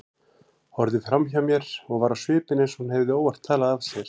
Horfði framhjá mér og var á svipinn eins og hún hefði óvart talað af sér.